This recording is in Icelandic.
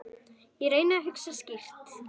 Ég reyndi að hugsa skýrt.